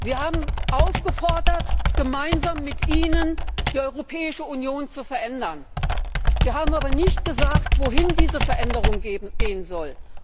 Sie haben dazu aufgerufen, gemeinsam mit Ihnen die Europäische Union zu verändern. Sie haben aber nicht gesagt, wohin diese Veränderung gehen soll.